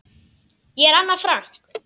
Ég er Anna Frank.